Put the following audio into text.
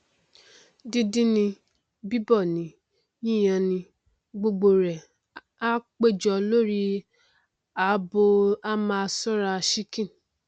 díndín ni bíbọ ni yíyan ni gbogbo rẹ á péjọ lórí abọ á máa ṣọrá sìnkìn